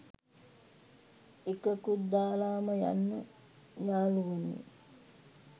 එකකුත් දාලම යන්න යාලුවනේ